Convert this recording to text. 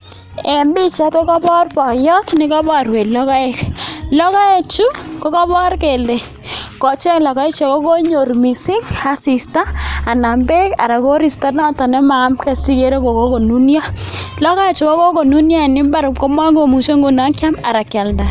En pichait kokabor boiyot nekaborwech logoek, chu kokabor kele kochang' logoek akokonyor missing asista anan beek anan koristo noton nemayamge sikere kokonunyo, logoek chu kokonunyo en mbaar komokomuche nguno kyam anan kyalda.